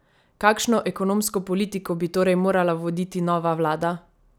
Kakšno ekonomsko politiko bi torej morala voditi nova vlada?